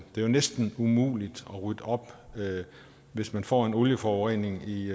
er jo næsten umuligt at rydde op hvis man får en olieforurening i